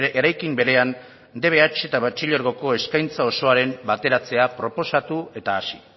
berean dbh eta batxilergoko eskaintza osoaren bateratzea proposatu eta hasi